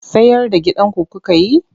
Sayar da gidanku kuka yi?